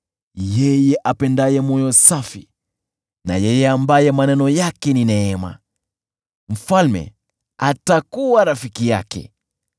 Yeye apendaye moyo safi na yeye ambaye maneno yake ni ya neema, mfalme atakuwa rafiki yake.